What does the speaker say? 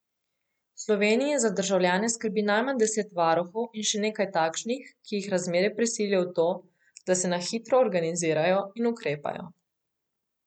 V Sloveniji za državljane skrbi najmanj deset varuhov in še nekaj takšnih, ki jih razmere prisilijo v to, da se na hitro organizirajo in ukrepajo.